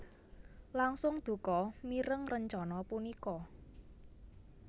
langsung duka mireng rencana punika